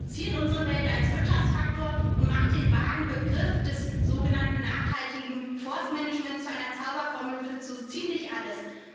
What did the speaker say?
Er reduziert unsere Wälder zum Wirtschaftsfaktor und macht den vagen Begriff des sogenannten nachhaltigen Forstmanagements zu einer Zauberformel für so ziemlich alles.